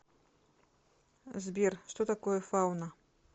сбер что такое фауна